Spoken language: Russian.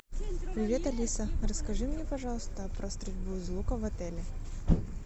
привет алиса расскажи мне пожалуйста про стрельбу из лука в отеле